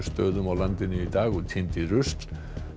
stöðum á landinu í dag og tíndi rusl